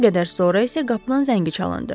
Bir qədər sonra isə qapının zəngi çalındı.